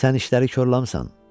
Sən işləri korlamısan.